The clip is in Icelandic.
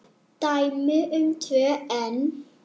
Dæmi um tvö enn